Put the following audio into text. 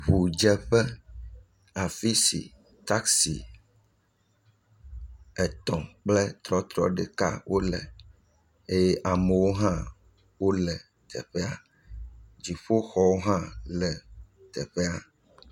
Ŋudzeƒe, afi si taksi etɔ̃ kple trɔtrɔ ɖeka wole, eye amewo hã wole teƒea. Dzoƒoxɔ hã le teƒea.